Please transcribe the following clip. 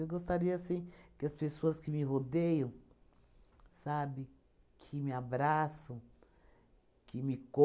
gostaria, assim, que as pessoas que me rodeiam, sabe, que me abraçam, que me